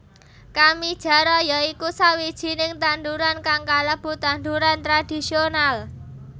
Kamijara ya iku sawijining tanduran kang kalebu tanduran tradhisional